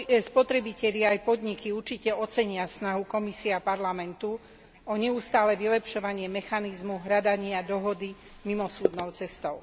Spotrebitelia i podniky určite ocenia snahu Komisie a Parlamentu o neustále vylepšovanie mechanizmu hľadania dohody mimosúdnou cestou.